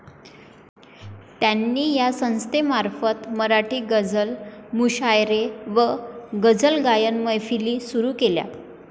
त्यांनी या संस्थेमार्फत मराठी गझल मुशायरे व गझलगायन मैफिली सुरु केल्या.